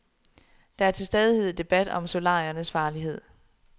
Der er til stadighed debat om solariernes farlighed.